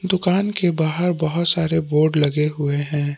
दुकान के बाहर बहुत सारे बोर्ड लगे हुए हैं।